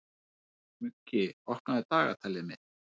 Muggi, opnaðu dagatalið mitt.